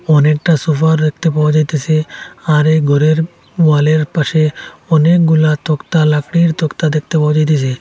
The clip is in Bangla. অনেকটা সোফা দেখতে পাওয়া যাইতাসে আর এ ঘরের ওয়ালের পাশে অনেকগুলা তক্তা লাকড়ির তক্তা দেখতে পাওয়া যাইতাসে।